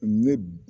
Ne b